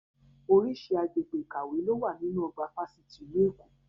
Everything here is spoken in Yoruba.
Oríṣi agbègbè ìkàwé lo wà nínú ọgbà fásitì ìlú Èkó